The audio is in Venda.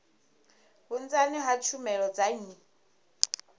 vhunzani ha tshumelo dza nnyi